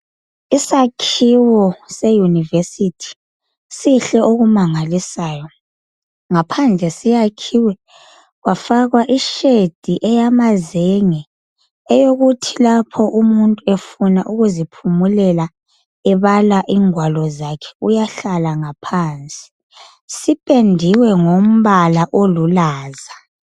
Isakhiwo se unirversity sihle okumangalisayo ngaphandle siyakhiwe kwafakwa i shade eyamazenge eyokuthi lapho umuntu efuna ukuziphumulela ebala ingwalo zakhe uyahlala ngaphansi sipendiwe ngombala umbala olulaza